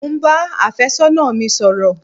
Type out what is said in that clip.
Mo ń ba àfẹ́sọ́nà mi sọ̀rọ̀